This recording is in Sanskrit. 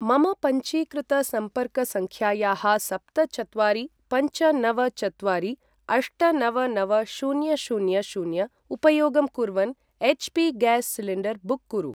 मम पञ्जीकृतसम्पर्कसङ्ख्यायाः सप्त चत्वारि पञ्च नव चत्वारि अष्ट नव नव शून्य शून्य शून्य उपयोगं कुर्वन् एच्.पी.गैस् सिलिण्डर् बुक् कुरु।